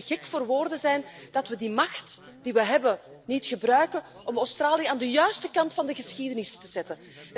Het zou toch te gek voor woorden zijn als we de macht die we hebben niet gebruiken om Australië aan de juiste kant van de geschiedenis te krijgen?